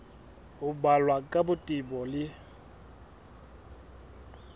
ho balwa ka botebo le